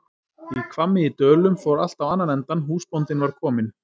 Í Hvammi í Dölum fór allt á annan endann, húsbóndinn var kominn!